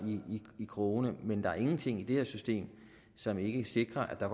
i krogene men der er ingenting i det her system som ikke sikrer at der